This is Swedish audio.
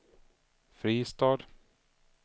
Fristad